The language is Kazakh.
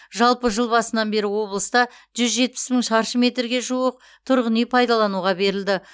жалпы жыл басынан бері облыста жүз жетпіс мың шаршы метрге жуық тұрғын үй пайдалануға берілді